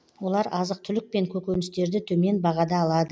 олар азық түлік пен көкөністерді төмен бағада алады